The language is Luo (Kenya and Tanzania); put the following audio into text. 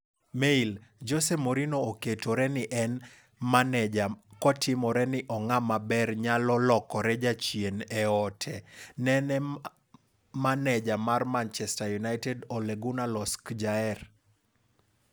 (Mail) Jose Mourinho oketore ni en maneja kotimore ni 'ong'ama ber' nyalo lokore 'jachien' e ote ne ne maneja mar Manchester United Ole Gunnar Solskjaer.